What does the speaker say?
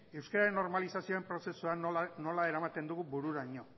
euskararen normalizazioaren prozesuan nola eramaten dugun bururaino